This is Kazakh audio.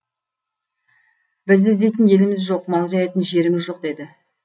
бізді іздейтін еліміз жоқ мал жаятын жеріміз жоқ деді